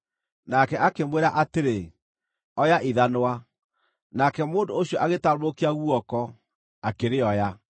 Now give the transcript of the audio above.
Nake akĩmwĩra atĩrĩ, “Oya ithanwa.” Nake mũndũ ũcio agĩtambũrũkia guoko, akĩrĩoya.